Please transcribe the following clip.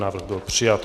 Návrh byl přijat.